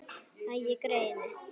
Æi, greyið mitt.